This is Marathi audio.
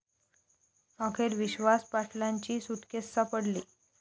अखेर विश्वास पाटलांची सुटकेस सापडली